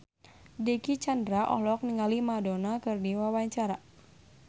Dicky Chandra olohok ningali Madonna keur diwawancara